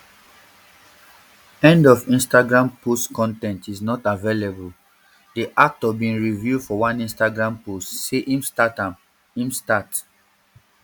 end of instagram post con ten t is not available di actor bin reveal for one instagram post say im start im start